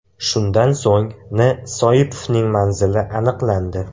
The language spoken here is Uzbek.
Shundan so‘ng N.Soipovning manzili aniqlandi.